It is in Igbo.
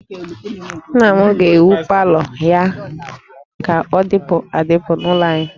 Nna m ga-ewu palọ ya ka ọ dịpụ adịpụ n'ụlọ anyị